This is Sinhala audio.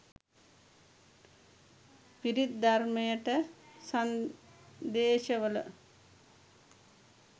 පිරිත් ධර්මයට සන්දේශවල